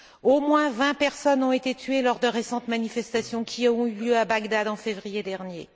Au moins 20 personnes ont été tuées lors de récentes manifestations qui ont eu lieu à Bagdad en février dernier.